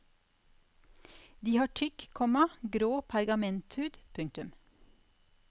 De har tykk, komma grå pergamenthud. punktum